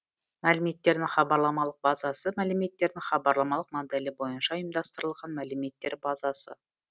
мәліметтердің хабарламалық базасы мәліметтердің хабарламалық моделі бойынша ұйымдастырылған мәліметтер базасы